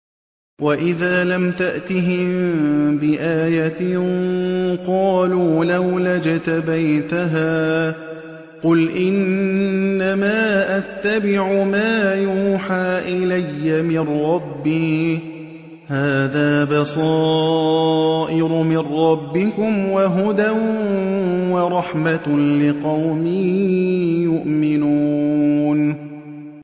وَإِذَا لَمْ تَأْتِهِم بِآيَةٍ قَالُوا لَوْلَا اجْتَبَيْتَهَا ۚ قُلْ إِنَّمَا أَتَّبِعُ مَا يُوحَىٰ إِلَيَّ مِن رَّبِّي ۚ هَٰذَا بَصَائِرُ مِن رَّبِّكُمْ وَهُدًى وَرَحْمَةٌ لِّقَوْمٍ يُؤْمِنُونَ